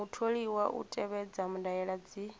mutholiwa u tevhedza ndaela dzi